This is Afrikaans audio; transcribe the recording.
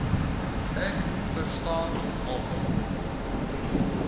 ek verstaan mos